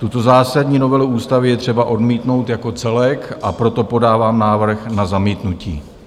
Tuto zásadní novelu ústavy je třeba odmítnout jako celek, a proto podávám návrh na zamítnutí.